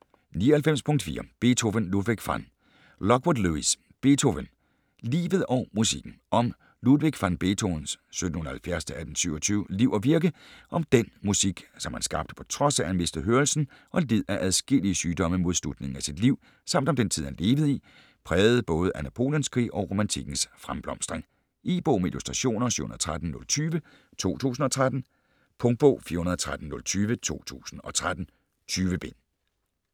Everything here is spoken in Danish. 99.4 Beethoven, Ludwig van Lockwood, Lewis: Beethoven: livet og musikken Om Ludwig van Beethovens (1770-1827) liv og virke, om den musik, som han skabte på trods af at han mistede hørelsen og led af adskillige sygdomme mod slutningen af sit liv, samt om den tid han levede i, præget både af Napoleonskrige og romantikkens fremblomstring. E-bog med illustrationer 713020 2013. Punktbog 413020 2013. 20 bind.